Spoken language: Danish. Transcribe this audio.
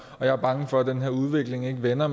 og jeg er bange for at den her udvikling ikke vender